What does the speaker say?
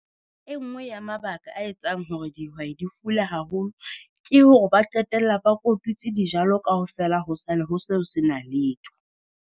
E nngwe ya mabaka a etsang hore dihwai di fula haholo, ke hore ba qetella ba kotutsi dijalo kaofela ho sale ho seo sena letho.